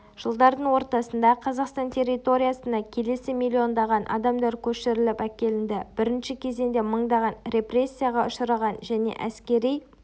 жылдардың ортасында қазақстан территориясына келесі миллиондаған адамдар көшіріліл әкелінді бірінші кезеңде мыңдаған репрессияға ұшыраған және әскери